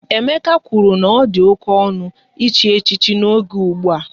Emeka kwụrụ na ọ dị oké ọnụ, echi echichi n'oge ụgbụa